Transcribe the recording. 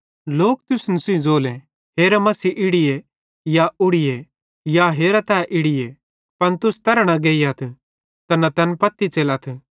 लोक तुसन सेइं ज़ोले कि हेरा मसीह इड़ीए या उड़ीए या हेरा तै इड़ीए पन तुस तैरां न गेइयथ ते न तैन पत्ती न च़ेलथ